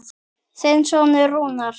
Þinn sonur Rúnar.